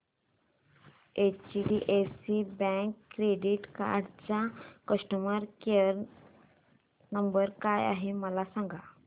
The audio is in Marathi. एचडीएफसी बँक क्रेडीट कार्ड चा कस्टमर केयर नंबर काय आहे मला सांगा